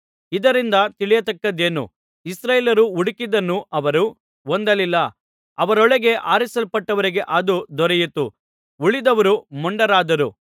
ಇದರಿಂದ ತಿಳಿಯತಕ್ಕದ್ದೇನು ಇಸ್ರಾಯೇಲ್ಯರು ಹುಡುಕಿದ್ದನ್ನು ಅವರು ಹೊಂದಲಿಲ್ಲ ಅವರೊಳಗೆ ಆರಿಸಲ್ಪಟ್ಟವರಿಗೆ ಅದು ದೊರೆಯಿತು ಉಳಿದವರು ಮೊಂಡರಾದರು